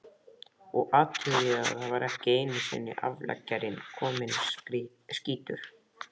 Og athugið að þá var ekki einusinni afleggjarinn kominn, skýtur